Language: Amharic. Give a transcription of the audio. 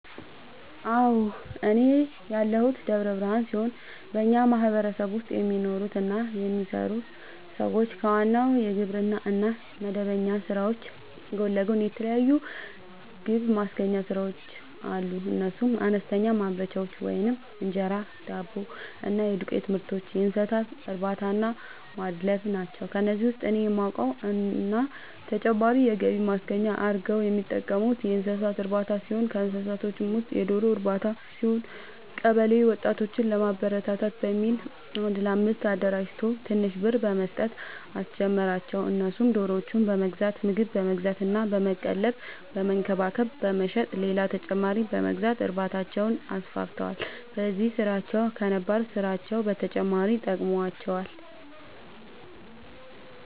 አዎ፤ እኔ ያለሁት ደብረ ብርሃን ሲሆን በኛ ማህበረሰብ ውስጥ የሚኖሩ እና የሚሰሩ ሰዎች ከዋናው የግብርና እና የመደበኛ ስራዎች ጎን ለጎን የተለያዩ ገብማስገኛ ስራዎች አሉ፤ እነሱም፦ አነስተኛ ማምረቻዎች(እንጀራ፣ ዳቦ እና የዱቄትምርቶች)፣የእንሰሳትእርባታናማድለብ ናቸው። ከነዚህ ውስጥ እኔ የማውቀው እና ተጨማሪ የገቢ ማስገኛ አርገው የሚጠቀሙበት የእንሰሳት እርባታ ሲሆን ከእንስሳዎቹ ውስጥም የዶሮ ርባታ ሲሆን፤ ቀበለ ወጣቶችን ለማበረታታት በሚል አንድ ለአምስት አደራጅቶ ትንሽ ብር በመስጠት አስጀመራቸው እነሱም ዶሮዎችን በመግዛት ምግብ በመግዛት እና በመቀለብ በመንከባከብ በመሸጥ ሌላ ተጨማሪ በመግዛት እርባታቸውን አስፋፍተዋል። በዚህም ስራቸው ከነባር ስራቸው በተጨማሪ ጠቅሞዋቸዋል።